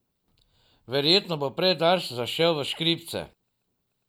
Verjetno bo prej Dars zašel v škripce.